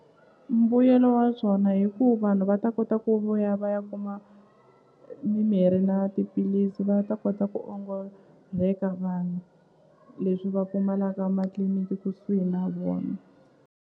Mbuyelo wa byona hi ku vanhu va ta kota ku vuya va ya kuma mimirhi na tiphilisi va ta kota ku ongola vanhu leswi va pfumalaka matliliniki kusuhi na vona.